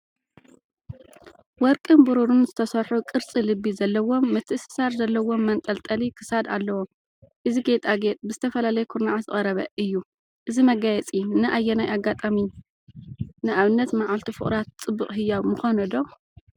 ወርቅን ብሩርን ዝተሰርሑ ቅርጺ ልቢ ዘለዎም ምትእስሳር ዘለዎም መንጠልጠሊ ክሳድ ኣለዎ። እዚ ጌጣጌጥ ብዝተፈላለየ ኩርናዓት ዝቐረበ እዩ። እዚ መጋየፂ ንኣየናይ ኣጋጣሚ (ንኣብነት መዓልቲ ፍቑራት) ጽቡቕ ህያብ ምኾነ ዶ?